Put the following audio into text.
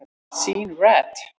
Sean Rad